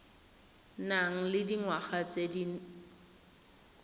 nang le dingwaga tse di